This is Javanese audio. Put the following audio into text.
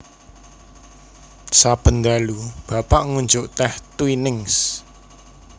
Saben dalu Bapak ngunjuk teh Twinings